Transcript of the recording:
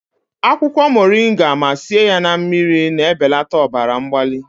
akwụkwọ moringa ma sie ya na mmiri, na-ebelata ọbara mgbali